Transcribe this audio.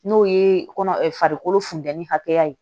N'o ye kɔnɔ funteni hakɛya ye